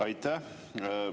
Aitäh!